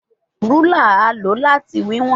Rúlà a lo lati wiwọn